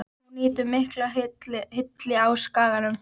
Hún nýtur mikillar hylli á Skaganum.